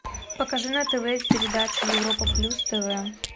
покажи на тв передачу европа плюс тв